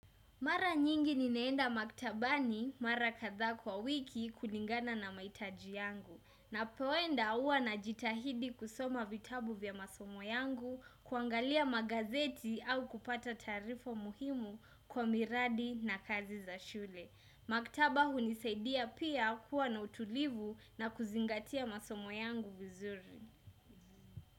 Mara nyingi ninaenda maktabani mara kadhaa kwa wiki kulingana na mahitaji yangu. Napoenda huwa najitahidi kusoma vitabu vya masomo yangu, kuangalia magazeti au kupata tarifo muhimu kwa miradi na kazi za shule. Maktaba hunisaidia pia kuwa na utulivu na kuzingatia masomo yangu vizuri.